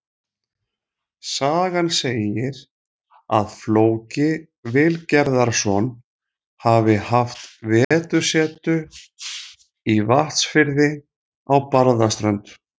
Sagan segir að Flóki Vilgerðarson hafi haft vetursetu í Vatnsfirði á Barðaströnd.